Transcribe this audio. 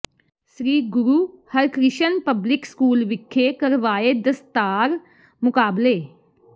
ਸ੍ਰੀ Guru Harkrishan public school ਵਿਖੇ ਕਰਵਾਏ ਦਸਤਾਰ ਮੁਕਾਬਲੇ